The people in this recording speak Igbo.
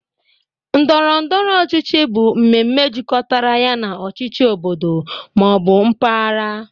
Ndọrọ ndọrọ ọchịchị bụ mmemme jikọtara ya na ọchịchị obodo ma ọ bụ mpaghara